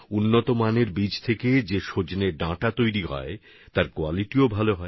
উন্নত প্রজাতির বীজ থেকে যে সজনে হয় তার গুণমানও খুব ভালো